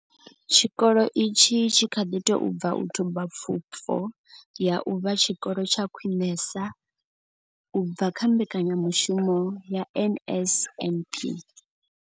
Tshikolo itshi tshi kha ḓi tou bva u thuba pfufho ya u vha tshikolo tsha khwinesa u bva kha mbekanyamushumo ya NSNP.